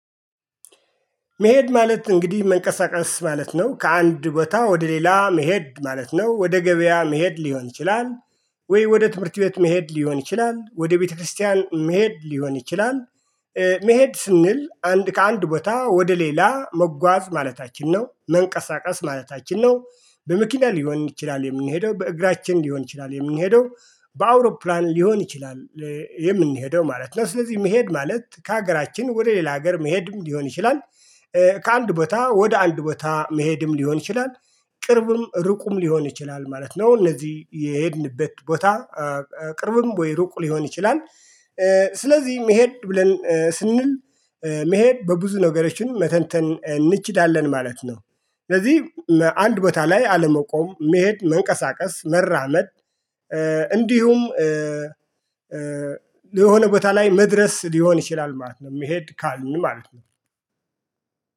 መሄድ ማለት እንግዲህ መንቀሳቀስ ማለት ነው ከአንድ ቦታ ወደ ሌላ መሄድ ማለት ነው ወደ ገበያ መሄድ ሊሆን ይችላል። ወይ ወደ ትምህርት ቤት መሄድ ሊሆን ይችላል ወደ ቤተክርስቲያን መሄድ ሊሆን ይችላል። መሄድ ስንል አንድ ከአንድ ቦታ ወደ ሌላ መጓዝ ማለታችን ነው መንቀሳቀስ ማለት አችን ነው በመኪና ሊሆን ይችላል የምንሄደው በእግራችን ሊሆን ይችላል የምንሄደው በአውሮፕላን ሊሆን ይችላል። የምንሄደው ማለት ነው ስለዚህ መሄድ ማለት ከሀገራችን ወደ ሌላ ሀገር መሄድም ሊሆን ይችላል። ከአንድ ቦታ ወደ አንድ ቦታ መሄድም ሊሆን ይችላል። ቅርብም ርቁም ሊሆን ይችላል ማለት ነው። እነዚህ የሄድንበት ቦታ። ቅርብም ወይ ሩቅ ሊሆን ይችላል። ስለዚህ መሄድ ብለን ስንል መሄድ በብዙ ነገሮችን መተንተን እንችላለን ማለት ነው። ስለዚህ አንድ ቦታ ላይ አለመቆም መሄድ መንቀሳቀስ መራመድ። እንዲሁም ለሆነ ቦታ ላይ መድረስ ሊሆን ይችላል ማለት ነው። መሄድ ካልን ማለት ነው